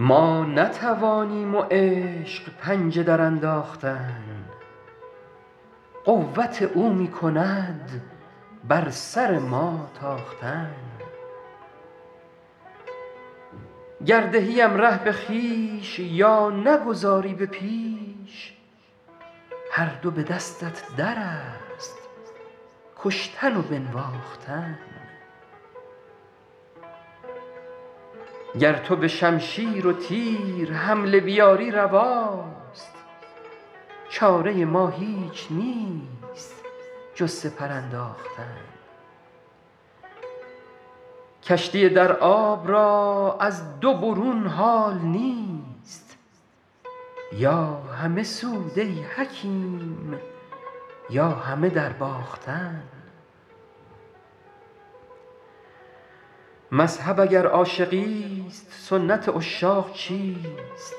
ما نتوانیم و عشق پنجه درانداختن قوت او می کند بر سر ما تاختن گر دهیم ره به خویش یا نگذاری به پیش هر دو به دستت در است کشتن و بنواختن گر تو به شمشیر و تیر حمله بیاری رواست چاره ما هیچ نیست جز سپر انداختن کشتی در آب را از دو برون حال نیست یا همه سود ای حکیم یا همه درباختن مذهب اگر عاشقیست سنت عشاق چیست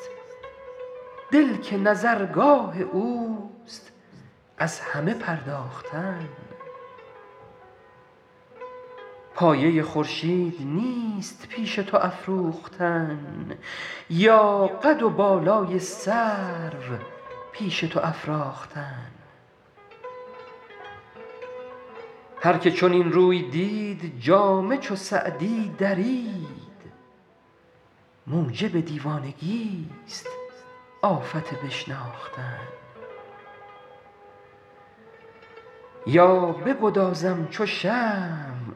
دل که نظرگاه اوست از همه پرداختن پایه خورشید نیست پیش تو افروختن یا قد و بالای سرو پیش تو افراختن هر که چنین روی دید جامه چو سعدی درید موجب دیوانگیست آفت بشناختن یا بگدازم چو شمع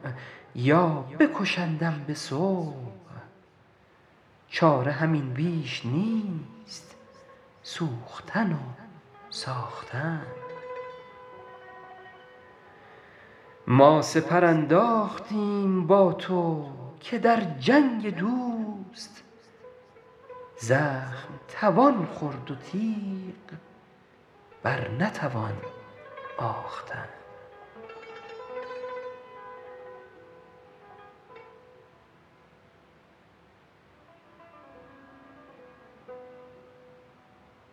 یا بکشندم به صبح چاره همین بیش نیست سوختن و ساختن ما سپر انداختیم با تو که در جنگ دوست زخم توان خورد و تیغ بر نتوان آختن